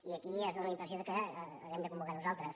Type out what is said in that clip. i aquí fa la impressió que haguem de convocar nosaltres